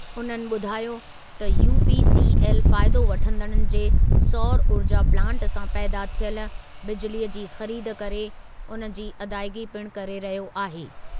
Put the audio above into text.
उन्हनि ॿुधायो त यूपीसीएल फ़ाइदो वठंदड़नि जे सौर ऊर्जा प्लांट सां पैदा थियलु बिजिलीअ जी ख़रीद करे उन जी अदाइगी पिणु करे रहियो आहे।